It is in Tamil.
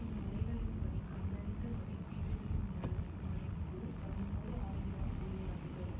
இம்முறைகளின்படி கண்டறிந்த மதிப்பீடுகளின் நிரல் மதிப்பு பதினோரு ஆயிரம் ஒளியாண்டுகள்